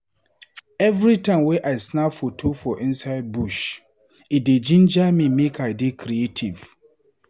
Every time wey I snap foto for inside bush e dey jinja me make I dey creative.